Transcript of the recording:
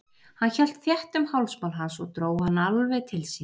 Hann hélt þétt um hálsmál hans og dró hann alveg til sín.